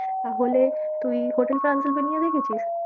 তাহলে তুই hotel Transylvania দেখেছিস?